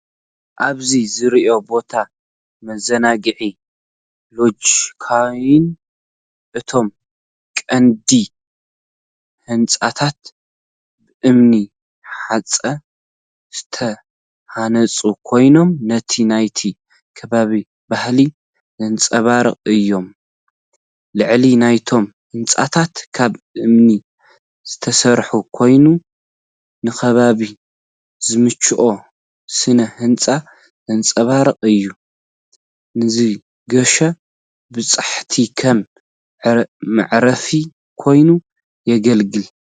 ኣብዚ ዝርአ ቦታ መዘናግዒ ሎጅ ኮይኑ፡እቶም ቀንዲ ህንጻታት ብእምኒ ሑጻ ዝተሃንጹ ኮይኖም፡ ነቲ ናይቲ ከባቢ ባህሊ ዘንጸባርቑ እዮም። ላዕሊ ናይቶም ህንጻታት ካብ እምኒ ዝተሰርሐ ኮይኑ፡ ንከባቢ ዝምችእ ስነ ህንጻ ዘንጸባርቕ እዩ። ንዝገሹ በጻሕቲ ከም መዕረፊ ኮይኑ የገልግል።